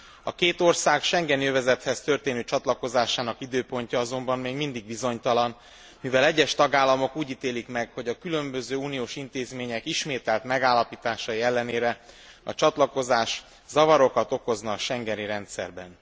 A két ország schengeni övezethez történő csatlakozásának időpontja azonban még mindig bizonytalan, mivel egyes tagállamok úgy ítélik meg, hogy a különböző uniós intézmények ismételt megállapításai ellenére a csatlakozás zavarokat okozna a schengeni rendszerben.